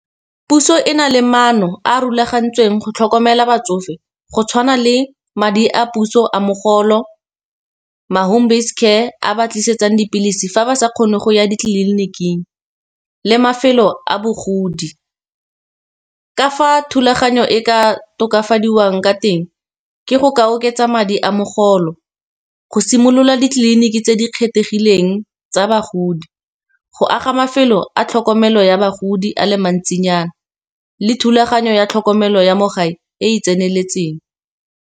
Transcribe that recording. Puso e na le maano a a rulagantsweng go tlhokomela batsofe go tshwana le madi a puso a mogolo. Ma home based care a ba tlisetsang dipilisi fa ba sa kgone go ya ditleliniking, le mafelo a bogodi. Ka fa thulaganyo e ka tokafadiwang ka teng, ke go ka oketsa madi a mogolo, go simolola ditleliniki tse di kgethegileng tsa bagodi. Go aga mafelo a tlhokomelo ya bagodi a le mantsinyana le thulaganyo ya tlhokomelo ya mo gae e e tseneletseng.